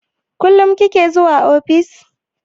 Kullum kike zuwa ofis?